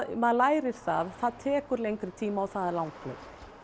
maður lærir það það tekur lengri tíma og það er langhlaup